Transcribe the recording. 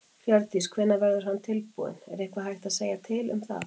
Hjördís: Hvenær verður hann tilbúinn, er eitthvað hægt að segja til um það?